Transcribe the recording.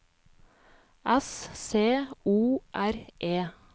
S C O R E